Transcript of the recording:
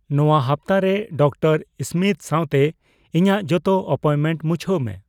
ᱱᱚᱣᱟ ᱦᱟᱯᱛᱟ ᱨᱮ ᱰᱟᱠᱛᱟᱨ ᱤᱥᱢᱤᱛᱷ ᱥᱟᱣᱛᱮ ᱤᱧᱟᱹᱜ ᱡᱚᱛᱚ ᱮᱯᱚᱭᱢᱮᱱᱴ ᱢᱩᱪᱷᱟᱹᱣ ᱢᱮ